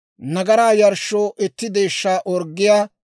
nagaraa yarshshoo itti deeshshaa orggiyaa,